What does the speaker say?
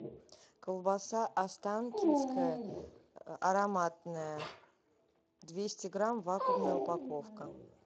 колбаса останкинская ароматная двести грамм вакуумная упаковка